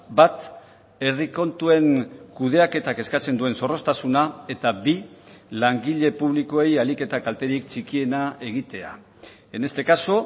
bat herri kontuen kudeaketak eskatzen duen zorroztasuna eta bi langile publikoei ahalik eta kalterik txikiena egitea en este caso